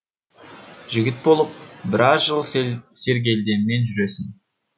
жігіт болып біраз жыл сергелденмен жүресің